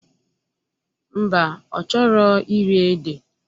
Mba, ọ chọrọ iri ede